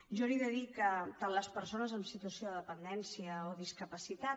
jo li he de dir que tant les persones en situació de dependència o discapacitat